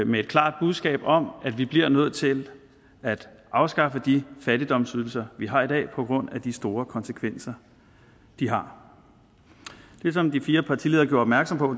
med et klart budskab om at vi bliver nødt til at afskaffe de fattigdomsydelser vi har i dag på grund af de store konsekvenser de har det som de fire partiledere gjorde opmærksom på